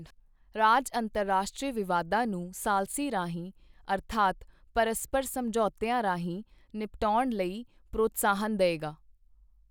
ਰਾਜ ਅੰਤਰਰਾਸ਼ਟਰੀ ਵਿਵਾਦਾਂ ਨੂੰ ਸਾਲਸੀ ਰਾਹੀਂ ਅਰਥਾਤ ਪਰਸਪਰ ਸਮਝੌਤਿਆਂ ਰਾਹੀਂ ਨਿਪਟਾਉਣ ਲਈ ਪ੍ਰੋਤਸਾਹਨ ਦਏਗਾ।